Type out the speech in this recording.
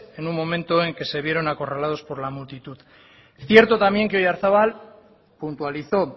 en un momento en que se vieron acorralados por la multitud cierto también que oyarzabal puntualizó